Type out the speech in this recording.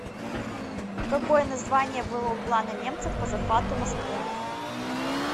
какое название было у плана немцев по захвату москвы